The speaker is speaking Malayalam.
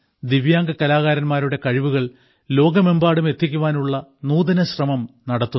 ദിവ്യാംഗ കലാകാരന്മാരുടെ കഴിവുകൾ ലോകമെമ്പാടും എത്തിക്കുവാനുള്ള നൂതന ശ്രമം നടത്തുന്നു